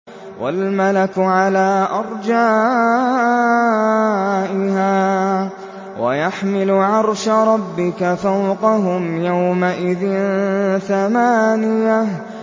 وَالْمَلَكُ عَلَىٰ أَرْجَائِهَا ۚ وَيَحْمِلُ عَرْشَ رَبِّكَ فَوْقَهُمْ يَوْمَئِذٍ ثَمَانِيَةٌ